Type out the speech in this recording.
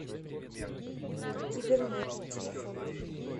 кибернет телефон